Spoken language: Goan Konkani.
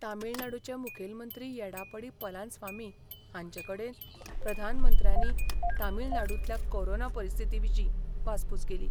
तामीळनाडूचे मुखेलमंत्री येडापडी पलानस्वामी हांचे कडेन प्रधानमंत्र्यांनी तामीळनाडूंतल्या कोरोना परिस्थिती विशीं वासपूस केली.